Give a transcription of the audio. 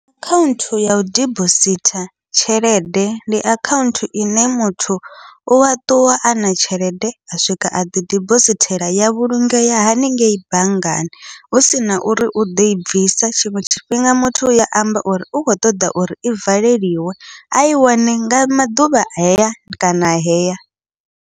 Akhaunthu yau dibositha tshelede ndi akhaunthu ine muthu ua ṱuwa ana tshelede a swika a ḓi dibosithela ya vhulungea haningei banngani, husina uri u ḓoi bvisa tshiṅwe tshifhinga muthu uya amba uri u kho ṱoḓa uri i valeliwe ai wane nga maḓuvha heya kana heya.